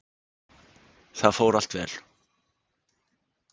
Það fór allt vel.